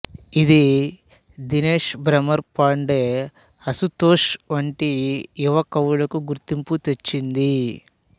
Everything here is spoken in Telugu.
ఇది దినేష్ భ్రమర్ పాండే అశుతోష్ వంటి యువ కవులకు గుర్తింపు తెచ్చింది